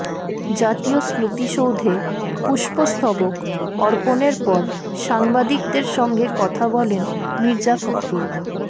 জাতীয় স্মৃতিসৌধে পুষ্পস্তবক অর্পণের পর সাংবাদিকদের সঙ্গে কথা বলেন মির্জা ফখরুল